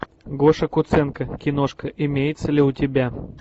гоша куценко киношка имеется ли у тебя